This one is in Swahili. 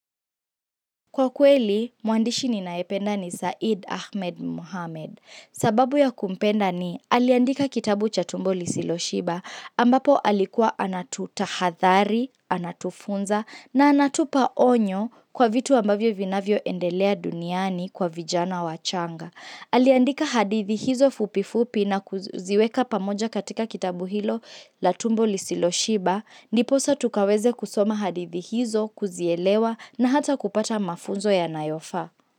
Kwa kweli, muandishi ninaependa ni Saeed Ahmed Muhammad. Sababu ya kumpenda ni, aliandika kitabu cha tumbo lisilo shiba, ambapo alikuwa anatuta hadhari, anatufunza, na anatupa onyo kwa vitu ambavyo vinavyo endelea duniani kwa vijana wachanga. Aliandika hadithi hizo fupifupi na kuziweka pamoja katika kitabu hilo la tumbo lisilo shiba, niposa tukaweza kusoma hadithi hizo, kuzielewa na hata kupata mafunzo yanayofaa.